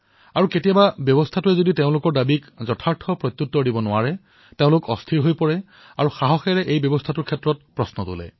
আৰু কেতিয়াবা কোনো প্ৰণালীয়ে ঠিক মতে কাম নকৰিলে তেওঁলোকে অস্থিৰো হৈ পৰে আৰু সাহসৰ সৈতে প্ৰণালীক প্ৰশ্নও কৰে